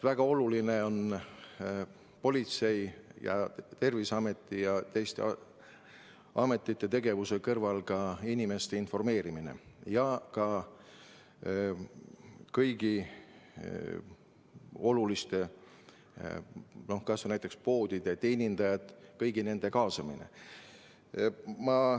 Väga oluline on politsei ja Terviseameti ja teiste ametite tegevuse kõrval inimeste informeerimine ja ka kõigi oluliste töötajate, näiteks poodide teenindajate kaasamine.